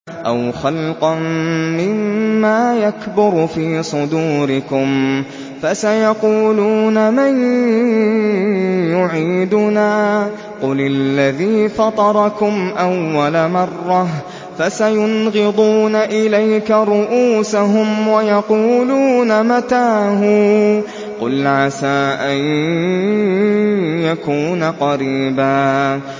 أَوْ خَلْقًا مِّمَّا يَكْبُرُ فِي صُدُورِكُمْ ۚ فَسَيَقُولُونَ مَن يُعِيدُنَا ۖ قُلِ الَّذِي فَطَرَكُمْ أَوَّلَ مَرَّةٍ ۚ فَسَيُنْغِضُونَ إِلَيْكَ رُءُوسَهُمْ وَيَقُولُونَ مَتَىٰ هُوَ ۖ قُلْ عَسَىٰ أَن يَكُونَ قَرِيبًا